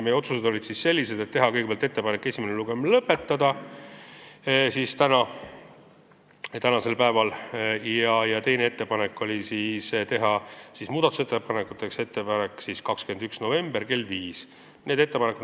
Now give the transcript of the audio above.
Meie otsused olid sellised: kõigepealt tehti ettepanek lõpetada tänasel päeval esimene lugemine ja teiseks määrata muudatusettepanekute tähtajaks 21. november kell 17.